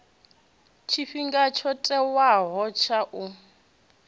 tshifhinga tsho tiwaho tsha u